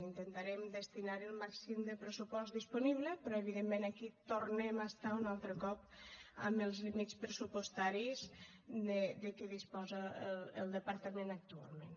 intentarem destinar hi el màxim de pressupost disponible però evidentment aquí tornem a estar un altre cop amb els límits pressupostaris de què disposa el departament actualment